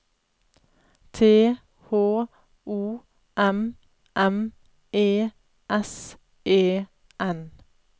T H O M M E S E N